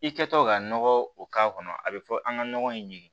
I kɛtɔ ka nɔgɔ o k'a kɔnɔ a bɛ fɔ an ka nɔgɔ in ɲini